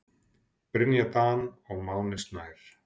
Brynja Dan og Máni Snær.